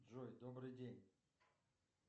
джой добрый день